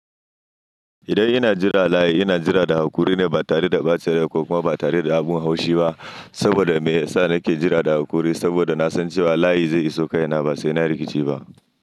Idan ina jira layi, ina jira da haƙuri ne ba tare da bacin rai ko kuma ba tare da abin haushi ba. Saboda me ya sa nake jira da haƙuri? Saboda na san cewa layi zai iso kai na ba sai na rikici ba.